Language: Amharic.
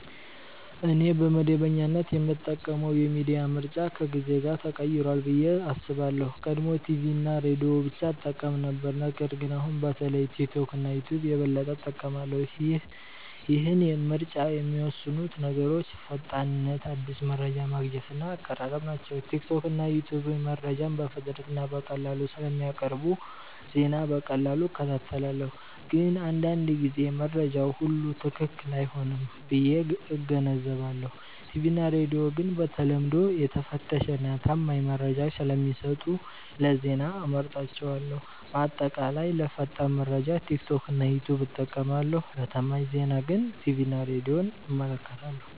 እኔ በመደበኛነት የምጠቀምበት የሚዲያ ምርጫ ከጊዜ ጋር ተቀይሯል ብዬ አስባለሁ። ቀድሞ ቲቪ እና ሬዲዮ ብቻ እጠቀም ነበር ነገር ግን አሁን በተለይ ቲክቶክ እና ዩትዩብ የበለጠ እጠቀማለሁ። ይህን ምርጫ የሚወስኑት ነገሮች ፈጣንነት አዲስ መረጃ ማግኘት እና አቀራረብ ናቸው። ቲክቶክ እና ዩትዩብ መረጃን በፍጥነት እና በቀላሉ ስለሚያቀርቡ ዜና በቀላሉ እከታተላለሁ። ግን አንዳንድ ጊዜ መረጃው ሁሉ ትክክል አይሆንም ብዬ እገነዘባለሁ። ቲቪ እና ሬዲዮ ግን በተለምዶ የተፈተሸ እና ታማኝ መረጃ ስለሚሰጡ ለዜና እመርጣቸዋለሁ። በአጠቃላይ ለፈጣን መረጃ ቲክቶክ እና ዩትዩብ እጠቀማለሁ ለታማኝ ዜና ግን ቲቪ እና ሬዲዮን እመለከታለሁ።